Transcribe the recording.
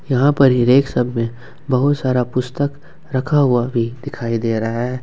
यहां पर ही रैक सब में बहुत सारा पुस्तक रखा हुआ भी दिखाई दे रहा है।